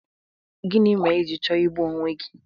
Gịnị mere i ji chọọ igbu onwe gi?